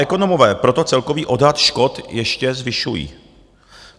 Ekonomové proto celkový odhad škod ještě zvyšují.